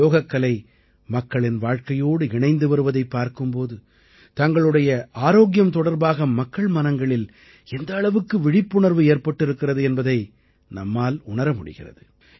யோகக்கலை மக்களின் வாழ்க்கையோடு இணைந்து வருவதைப் பார்க்கும் போது தங்களுடைய ஆரோக்கியம் தொடர்பாக மக்கள் மனங்களில் எந்த அளவுக்கு விழிப்புணர்வு ஏற்பட்டிருக்கிறது என்பதை நம்மால் உணர முடிகிறது